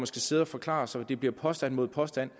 skal sidde og forklare sig og det bliver påstand mod påstand